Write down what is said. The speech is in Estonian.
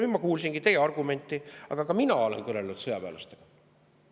Ma kuulasin teie argumenti, aga ka mina olen kõnelenud sõjaväelastega.